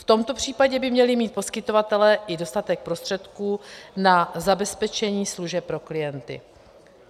V tomto případě by měli mít poskytovatelé i dostatek prostředků na zabezpečení služeb pro klienty.